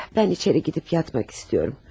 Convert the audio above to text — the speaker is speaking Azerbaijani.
Mən içəri gedib yatmaq istəyirəm.